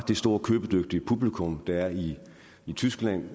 store købedygtige publikum der er i tyskland